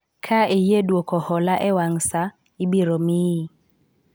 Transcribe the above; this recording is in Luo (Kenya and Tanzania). ka iyie dwoko hola e wang' saa ,ibiro miyi